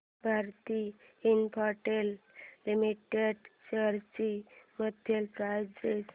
Bharti Infratel limited shares ची monthly price range